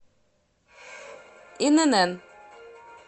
инн